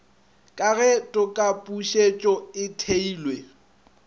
ka ge tokapušetšo e theilwe